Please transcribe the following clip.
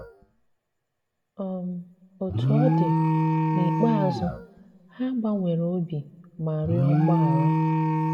um Òtú ọ dị, n'íkpéazụ, ha gbànwèrè obi ma rịọ mgbaghara.